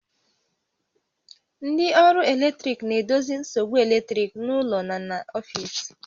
Ndị ọrụ eletrik na-edozi nsogbu eletrik n'ụlọ na n'ọfiisi